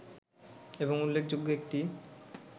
এবং উল্লেখযোগ্য একটি